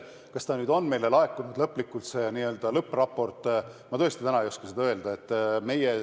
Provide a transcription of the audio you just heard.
Kas meile on laekunud ka n-ö lõppraport, seda ma täna ei oska öelda.